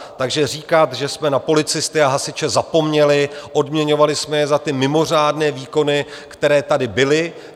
Takže říkat, že jsme na policisty a hasiče zapomněli - odměňovali jsme je za ty mimořádné výkony, které tady byly.